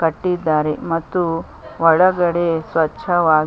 ಕಟ್ಟಿದ್ದಾರೆ ಮತ್ತು ಒಳಗಡೆ ಸ್ವಚ್ಛವಾಗಿ--